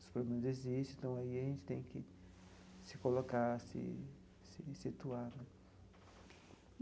Os problemas existem, então aí a gente tem que se colocar, se se situar.